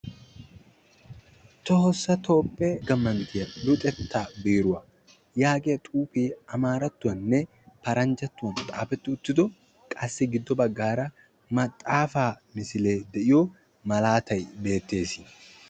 Tohossa toophiya dalgga manttiya luxetta biiruwa maxafaa malatay beettes.